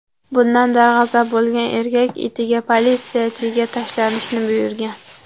Bundan darg‘azab bo‘lgan erkak itiga politsiyachiga tashlanishni buyurgan.